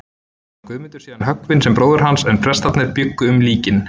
Var Guðmundur síðan höggvinn sem bróðir hans, en prestarnir bjuggu um líkin.